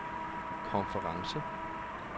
konference